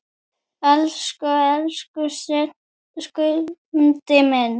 Elsku, elsku Skundi minn!